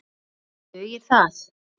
Dugir það?